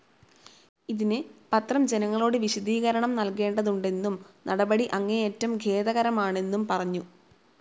ഇതിന് പത്രം ജനങ്ങളോട് വിശദീകരണം നൽകേണ്ടതുണ്ടെന്നും നടപടി അങ്ങേയറ്റം ഖേദകരമാണെന്നും പറഞ്ഞു.